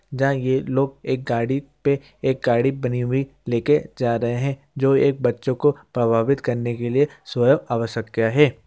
जहां ये लोग एक गाड़ी पे एक गाड़ी बनी हुई ले के जा रहे हैं जो एक बच्चों को प्रभावित करने के लिए स्वयं जा रहे हैं।